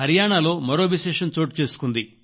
హరియాణాలో మరో విశేషం చోటుచేసుకుంది